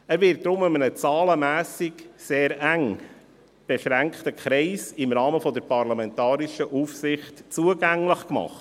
Er wird deshalb in einem zahlenmässig sehr eng beschränkten Kreis im Rahmen der parlamentarischen Aufsicht zugänglich gemacht.